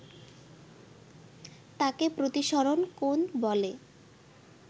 তাকে প্রতিসরণ কোণ বলে